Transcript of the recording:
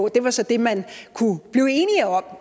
i det var så det man kunne blive enige om